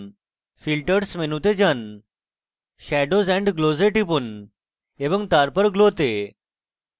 filters মেনুতে যানে shadows and glows এ টিপুন এবং তারপর glow go